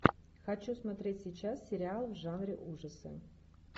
хочу смотреть сейчас сериал в жанре ужасы